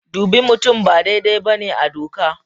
Dubi mutum ba daidai ba ne a doka.